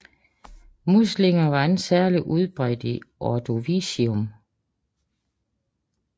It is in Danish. Muslinger var ikke særlig udbredt i Ordovicium